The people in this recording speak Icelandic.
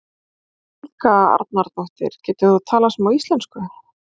Helga Arnardóttir: Getur þú talað smá íslensku?